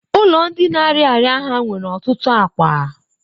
ụlọ ndi na-arịa ọrịa ha nwere ọtụtụ akwa.